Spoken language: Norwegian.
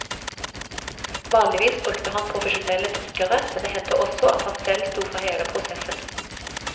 Vanligvis brukte han profesjonelle trykkere, men det hendte også at han selv sto for hele prosessen.